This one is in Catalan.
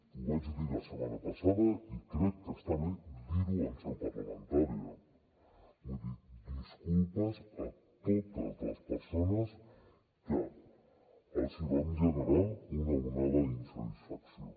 ho vaig dir la setmana passada i crec que està bé dir ho en seu parlamentària vull dir disculpes a totes les persones que els vam generar una onada d’insatisfacció